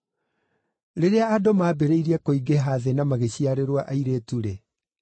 Rĩrĩa andũ maambĩrĩirie kũingĩha thĩ na magĩciarĩrwo airĩtu-rĩ,